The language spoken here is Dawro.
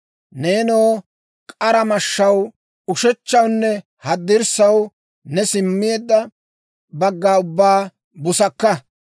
Neenoo, k'ara mashshaw, ushechchawunne haddirssaw, ne simmeedda bagga ubbaa busakka.